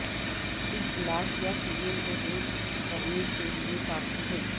اس glass یا film کو دور کرنے کے لئے کافی ہے